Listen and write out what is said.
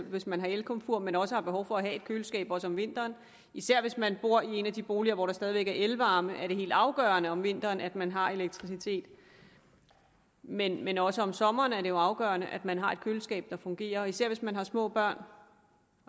hvis man har et elkomfur men også har behov for at have et køleskab om vinteren især hvis man bor i en af de boliger hvor der stadig væk er elvarme er det helt afgørende om vinteren at man har elektricitet men men også om sommeren er det jo afgørende at man har et køleskab der fungerer især hvis man har små børn